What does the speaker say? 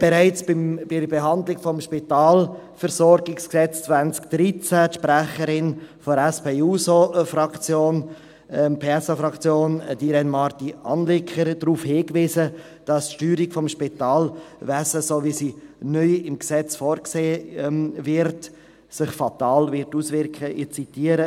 Bereits bei der Behandlung des SpVG 2013 wies die Sprecherin der SP-JUSO-PSA-Fraktion, Irène Marti Anliker, darauf hin, dass sich die Steuerung des Spitalwesens, so wie sie neu im Gesetz vorgesehen wird, fatal auswirken wird.